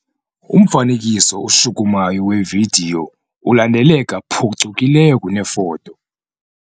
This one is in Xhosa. Umfanekiso oshukumayo wevidiyo ulandeleka phucukileyo kunefoto.